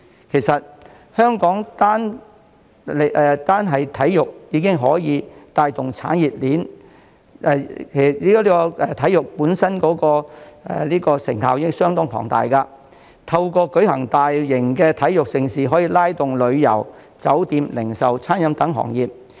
其實，香港單是體育帶動的產業鏈和體育本身的成效已相當龐大，透過舉辦大型體育盛事，可促進旅遊、酒店、零售及餐飲等行業。